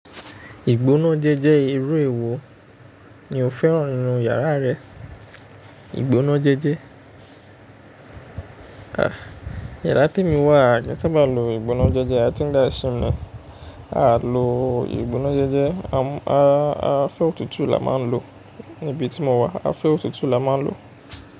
Ìgbóná jéjẹ́ irú èèwò. Ni ò fẹ́ràn inú yàrá rẹ. Ìgbónájéjé. Iyàrá tí èmi wà a kìí sábà lo ìgbónájéjé. A ti dáa sí wọn. A lo ìgbónájéjé. A fẹ́ òtútù ni a máa ń lo níbi tí mo wà. A fẹ́ òtútù ni a máa ń lo.